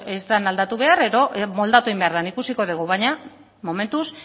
ez da aldatu behar edo moldatu egin behar da ikusiko dugu baina momentuz